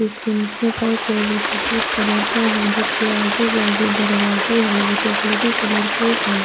اسکے نیچے فرش ہے۔ جو سفید کلر کا ہے۔ جسکے اجو باجو دروازے ہے۔ وو چوکولاتے کلر کے ہے۔